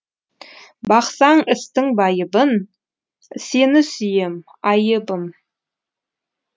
бақсаң істің байыбын сені сүйем айыбым